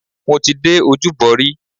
Mo ti dé Ojúbọ rí.